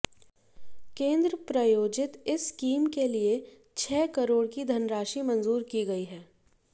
केंद्र प्रयोजित इस स्कीम के लिए छह करोड़ की धनराशि मंजूर की गई है